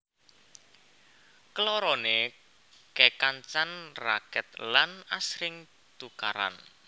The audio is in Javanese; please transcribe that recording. Kelorone kekancan raket lan asring tukaran